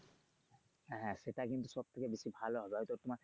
হ্যা সেটাই কিন্তু সব থেকে বেশি ভালো হবে হয়তো তোমার